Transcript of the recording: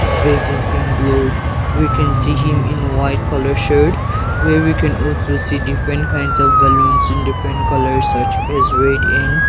his face has been blurred we can see him in white colour shirt where we can also see different kinds of balloons in different colours such as red and --